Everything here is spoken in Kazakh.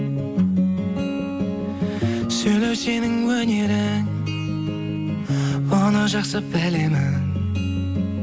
сөйлеу сенің өнерің оны жақсы білемін